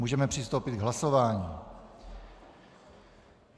Můžeme přistoupit k hlasování.